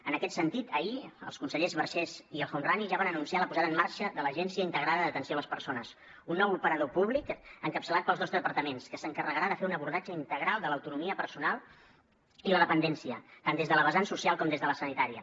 en aquest sentit ahir els consellers vergés i el homrani ja van anunciar la posada en marxa de l’agència integrada d’atenció a les persones un nou operador públic encapçalat pels dos departaments que s’encarregarà de fer un abordatge integral de l’autonomia personal i la dependència tant des de la vessant social com des de la sanitària